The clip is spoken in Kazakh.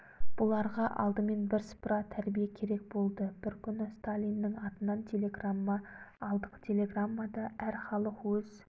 бұларға алдымен бірсыпыра тәрбие керек болды бір күні сталиннің атынан телеграмма алдық телеграммада әр халық өз